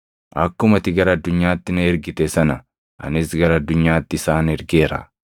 Akkuma ati gara addunyaatti na ergite sana anis gara addunyaatti isaan ergeera.